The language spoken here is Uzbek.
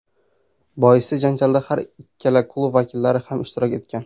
Boisi, janjalda har ikki klub vakillari ham ishtirok etgan.